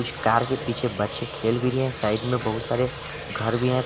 इस कार के पीछे बच्चे खेल रहे भी हैं साइड में बहुत सारे घर भी है।